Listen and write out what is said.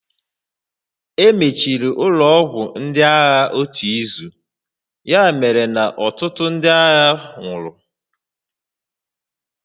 Emechiri ụlọ ọgwụ ndị agha otu izu, ya mere na ọtụtụ ndị agha nwụrụ